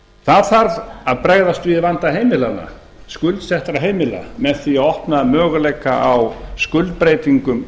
það þarf að bregðast við vanda heimilanna skuldsettra heimila með því að opna möguleika á skuldbreytingum